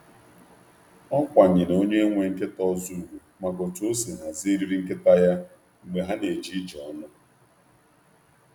Ọ toro usoro eriri onye nwe nkịta ọzọ n’oge njem ógbè.